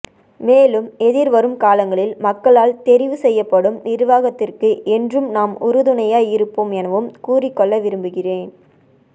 மேலும் எதிர்வரும் காலங்களில் மக்களால் தெரிவுசெய்யப்படும் நிர்வாகத்திற்கு என்றும் நாம் உறுதுணையாய் இருப்போம் எனவும் கூறிக்கொள்ள விரும்புகின்றேம்